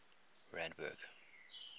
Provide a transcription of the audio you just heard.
randburg